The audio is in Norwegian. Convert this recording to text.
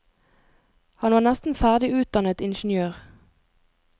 Han var nesten ferdig utdannet ingeniør.